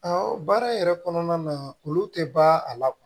baara yɛrɛ kɔnɔna na olu tɛ ban a la